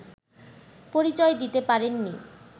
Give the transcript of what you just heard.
পরিচয় দিতে পারেননি